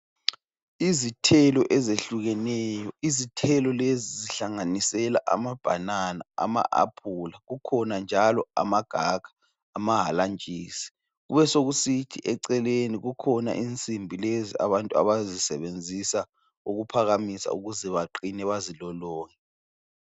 Izithelo ezehlukeneyo, izithelo lezi zihlanganisela amabhanana, ama aphula kukhona njalo amagaka, amahalantshisi. Kubesekusithi eceleni kukhona insimbi lezi abantu abazisebenzisa ukuphakamisa ukuze baqine bazilolonge.